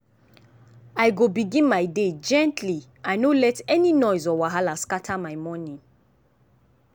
i go begin my day gently i no let any noise or wahala scatter my morning.